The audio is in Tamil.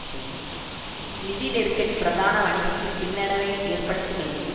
சிங் நிதி நெருக்கடி பிரதான வணிகத்தில் பின்னடைவை ஏற்படுத்துமெனில்